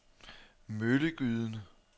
Møllegyden